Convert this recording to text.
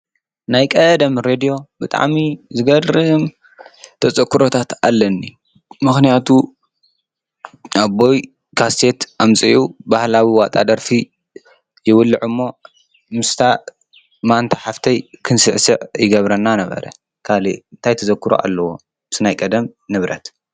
ናይ ቀደም ሬድዮ ብጣሚ ዘገድርም ተጸክረታት ኣለኒ ምኽንያቱ ኣቦይ ካስሴት ኣምፂዩ ባህላዊ ዋጣ ደርፊ የወልዕ እሞ ምስታ ማንታ ሓፍተይ ኽንስዕስዕ ይገብረና ነበረ ካል እንታይ ተዘክሮ ኣለዎ ምስ ናይ ቀደም ንብረት።